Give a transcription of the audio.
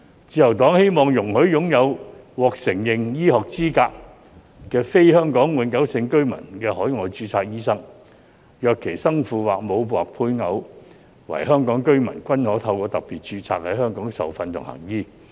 自由黨希望容許擁有"獲承認醫學資格"的非香港永久性居民的海外註冊醫生，若其生父或母或配偶為香港居民，均可透過"特別註冊"在港受訓及行醫。